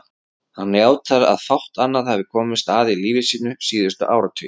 Hann játar að fátt annað hafi komist að í lífi sínu síðustu áratugi.